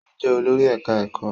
Ó jẹ́ olórí ẹ̀ká ẹ̀kọ́